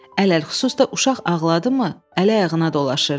Ələlxüsus da uşaq ağladı mı, ələ-ayağına dolaşırdı.